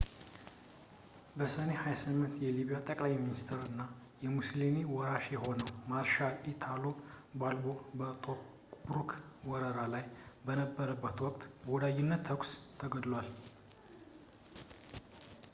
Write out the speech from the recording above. በሰኔ 28 የሊቢያ ጠቅላይ ሚኒስትር እና የሙስሉኒ ወራሽ የሆነው ማርሻል ኢታሎ ባልቦ በቶብሩክ ወረራ ላይ በነበረበት ወቅት በወዳጅነት ተኩስ ተገድሏል